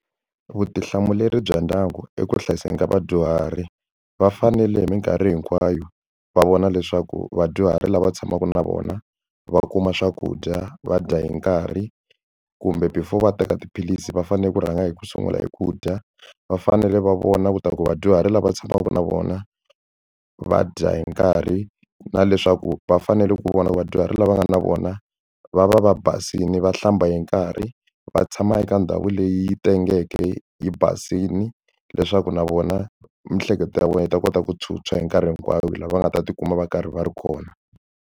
Vutihlamuleri bya ndyangu eku hlayisekeni ka vadyuhari va fanele hi mikarhi hinkwayo va vona leswaku vadyuhari lava tshamaka na vona va kuma swakudya va dya hi nkarhi kumbe before va teka tiphilisi va fanele ku rhanga hi ku sungula hi ku dya va fanele va vona ku ta ku vadyuhari lava tshamaka na vona va dya hi nkarhi na leswaku va fanele ku vona vadyuhari lava nga na vona va va va basile va hlamba hi nkarhi va tshama eka ndhawu leyi tengeke yi basile leswaku na vona miehleketo ya vona yi ta kota ku tshwutshwa hi nkarhi hinkwayo lava va nga ta tikuma va karhi va ri kona.